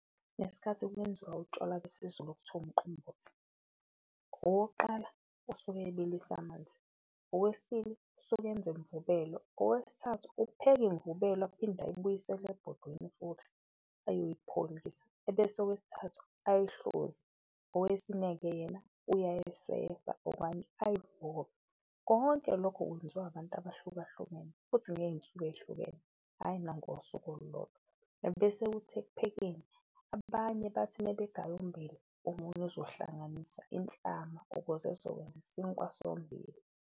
Ngesikhathi kwenziwa utshwala besiZulu okuthiwa umqombothi, owokuqala usuke ebilisa amanzi, owesibili usuke enza imvubelo, owesithathu upheka imvubelo aphinde ayibuyisele ebhodweni futhi ayoyipholisa. Ebese owesithathu ayihluze, owesine-ke yena uyayesefa okanye uyivove, konke lokho kwenziwa abantu abahlukahlukene futhi ngeyinsuku eyihlukene, hhayi nangosuku olodwa. Ebese kuthi ekuphekeni abanye bathi uma begaya ummbila, omunye uzohlanganisa inhlama ukuze ezokwenza isinkwa sommbila.